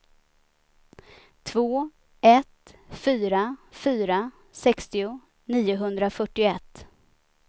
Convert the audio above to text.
två ett fyra fyra sextio niohundrafyrtioett